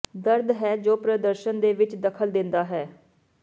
ਦਰਦ ਹੈ ਜੋ ਪ੍ਰਦਰਸ਼ਨ ਦੇ ਵਿਚ ਦਖ਼ਲ ਦਿੰਦਾ ਹੈ